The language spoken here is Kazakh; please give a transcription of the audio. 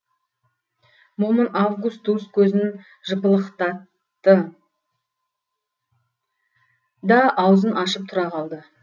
момын августус көзін жыпылықтатты да аузын ашып тұра қалды